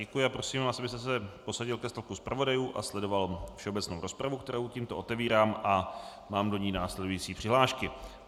Děkuji a prosím vás, abyste se posadil ke stolku zpravodajů a sledoval všeobecnou rozpravu, kterou tímto otevírám a mám do ní následující přihlášky.